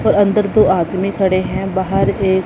और अंदर दो आदमी खड़े हैं बाहर एक--